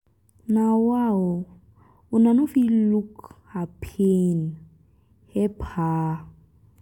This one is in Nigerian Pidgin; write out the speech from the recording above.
na wa o una no fit look her pain help her?